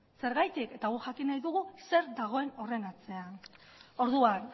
zergatik eta guk jakin nahi dugu zer dagoen horren atzean orduan